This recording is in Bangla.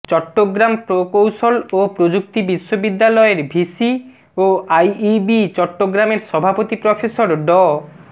চট্টগ্রাম প্রকৌশল ও প্রযুক্তি বিশ্ববিদ্যালয়ের ভিসি ও আইইবি চট্টগ্রামের সভাপতি প্রফেসর ড